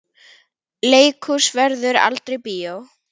Leikhús verður aldrei bíó.